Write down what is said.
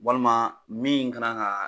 Walima min ka na ka